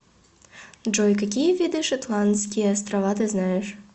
джой какие виды шетландские острова ты знаешь